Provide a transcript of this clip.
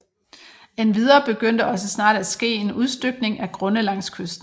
Endvidere begyndte også snart at ske en udstykning af grunde langs kysten